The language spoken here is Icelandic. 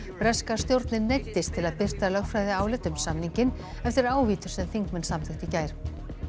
breska stjórnin neyddist til að birta lögfræðiálit um samninginn eftir ávítur sem þingmenn samþykktu í gær